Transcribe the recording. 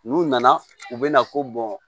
N'u nana u bɛna fɔ